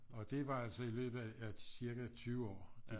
Og det var altså i løbet af cirka 20 år at